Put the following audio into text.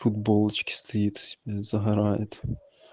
футболочке стоит себе загорает